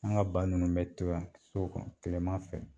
An ka ba ninnu mɛ to yan so kɔnɔ kilema fɛ